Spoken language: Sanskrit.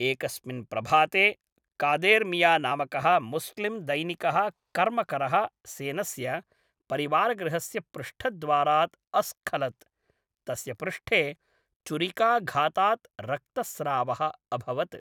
एकस्मिन् प्रभाते, कादेर् मिया नामकः मुस्लिम् दैनिकः कर्मकरः सेनस्य परिवारगृहस्य पृष्ठद्वारात् अस्खलत्, तस्य पृष्ठे चुरिकाघातात् रक्तस्रावः अभवत्।